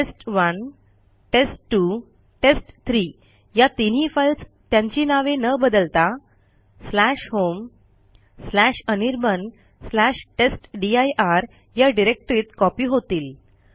टेस्ट1 टेस्ट2 टेस्ट3 या तीनही फाईल्स त्यांची नावे न बदलता homeanirbantestdir या डिरेक्टरीत कॉपी होतील